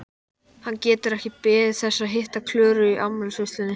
Hann getur ekki beðið þess að hitta Klöru í afmælisveislunni!